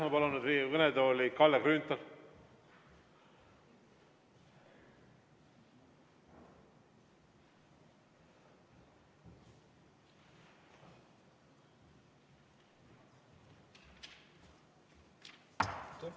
Ma palun nüüd Riigikogu kõnetooli Kalle Grünthali!